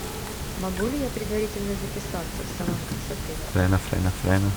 могу ли я предварительно записаться в салон красоты в отеле